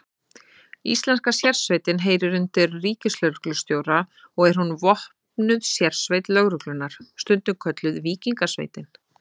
Íslenska sérsveitin heyrir undir ríkislögreglustjóra og er hún vopnuð sérsveit lögreglunnar, stundum kölluð Víkingasveitin.